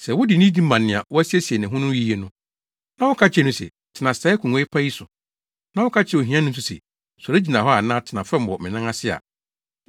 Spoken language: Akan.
Sɛ wode nidi ma nea wasiesie ne ho yiye no, na woka kyerɛ no se, “Tena saa akongua pa yi so,” na woka kyerɛ ohiani no nso se, “Sɔre gyina hɔ anaa tena fam wɔ me nan ase ha” a,